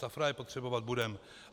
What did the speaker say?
Safra je potřebovat budeme.